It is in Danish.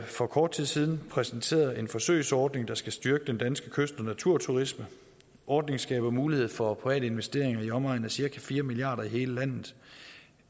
for kort tid siden præsenteret en forsøgsordning der skal styrke den danske kyst og naturturisme ordningen skaber mulighed for private investeringer i omegnen af cirka fire milliard kroner i hele landet